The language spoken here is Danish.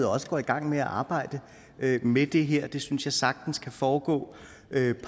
også går i gang med at arbejde med det her det synes jeg sagtens kan foregå